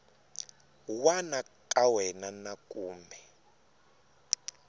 wana ka wena na kumbe